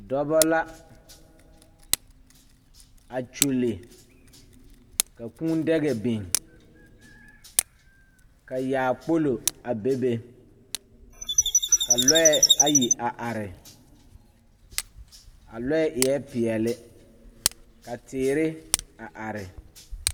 Dɔba la a kyulli ka kūūdaga biŋ ka yaakpolo a bebe ka lɔɛ ayi a are a lɔɛ eɛ peɛle ka teere a are.